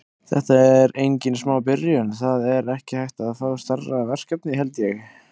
Þetta er engin smá byrjun, það er ekki hægt að fá stærra verkefni held ég.